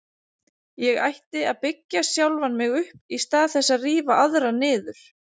Ég ætti að byggja sjálfan mig upp í stað þess að rífa aðra niður.